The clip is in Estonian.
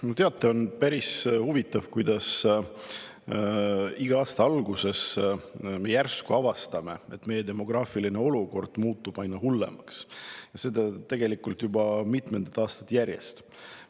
No teate, on päris huvitav, kuidas iga aasta alguses me järsku avastame, et meie demograafiline olukord muutub aina hullemaks, ja seda tegelikult juba mitmendat aastat järjest.